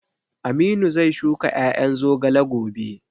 Aminu zai shuka ƴaƴan zogale gobe